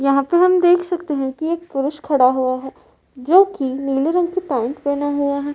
यहाँ पे हम देख सकते हैं कि एक पुरुष खड़ा हुआ है जोकि नीले रंग की पैन्ट पहना हुआ है।